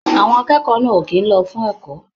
Àwọn akẹ́kọ̀ọ́ náà ò kì í lọ fún ẹ̀kọ́.